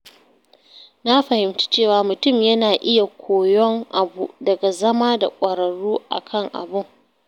Na fahimci cewa mutum yana iya koyon abu daga zama da ƙwararru a kan abun.